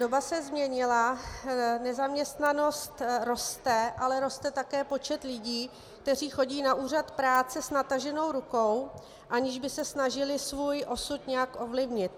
Doba se změnila, nezaměstnanost roste, ale roste také počet lidí, kteří chodí na úřad práce s nataženou rukou, aniž by se snažili svůj osud nějak ovlivnit.